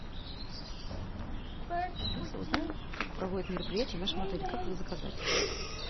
алиса узнай как проводят мероприятия в нашем отеле как их заказать